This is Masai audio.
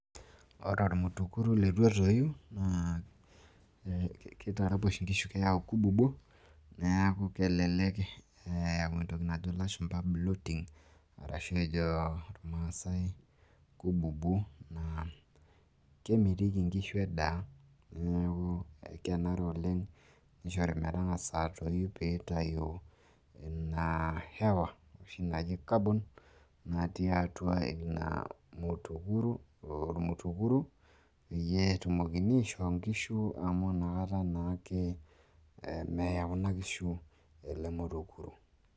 ore ormutukuru leitu etooi naa keyau kububuo, keyau entoki najo ilashumpa blooting, ashu ejo irmaasae kububuo. neeku kemitiki inkishu edaa. neeku kenare oleng nengas atoyu oshi naji carbon, ina natii atua ormutukuru, amu inakata naa ake meya kuna kishu olmutukru